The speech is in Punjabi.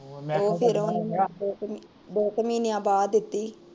ਦੋ ਕੂ ਮਹੀਨਿਆਂ ਬਾਦ ਦਿਤੀ ਸੀ